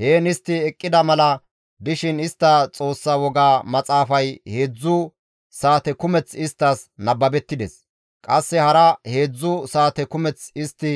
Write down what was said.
Heen istti eqqida mala dishin istta Xoossa woga maxaafay heedzdzu saate kumeth isttas nababettides; qasse hara heedzdzu saate kumeth istti